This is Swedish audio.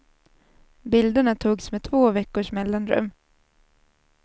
Bilderna togs med två veckors mellanrum.